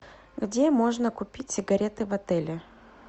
где можно купить сигареты в отеле